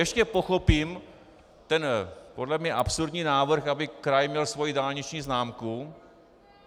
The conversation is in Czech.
Ještě pochopím ten podle mě absurdní návrh, aby kraj měl svoji dálniční známku.